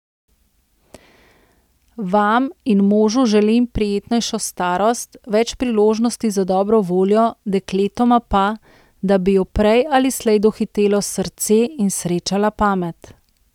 Vam in možu želim prijetnejšo starost, več priložnosti za dobro voljo, dekletoma pa, da bi ju prej ali slej dohitelo srce in srečala pamet.